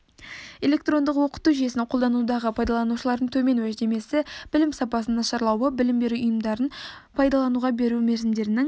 электрондық оқыту жүйесін қолданудағы пайдаланушылардың төмен уәждемесі білім сапасының нашарлауы білім беру ұйымдарын пайдалануға беру мерзімдерінің